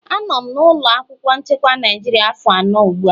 Anọ m na ụlọ akwụkwọ chekwa Naịjirịa afọ anọ ugbu a.